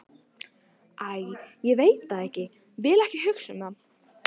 Æ, ég veit það ekki, vil ekki hugsa um það.